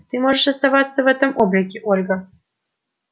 ты можешь оставаться в этом облике ольга